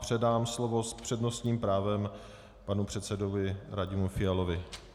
Předám slovo s přednostním právem panu předsedovi Radimu Fialovi.